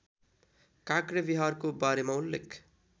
काँक्रेविहारको बारेमा उल्लेख